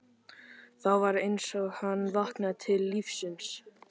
Þá var eins og hann vaknaði til lífsins.